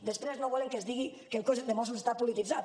després no volen que es digui que el cos de mossos està polititzat